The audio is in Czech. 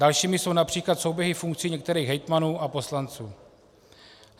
Dalšími jsou například souběhy funkcí některých hejtmanů a poslanců.